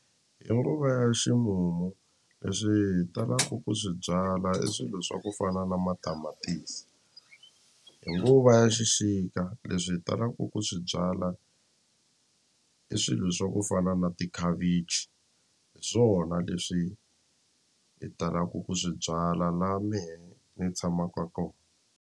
Hi nguva ya ximumu leswi hi talaku ku swi byala i swilo swa ku fana na matamatisi hi nguva ya xixika leswi hi talaku ku swi byala i swilo swa ku fana na tikhavichi hi swona leswi hi talaku ku swi byala la mehe ni tshamaka ko.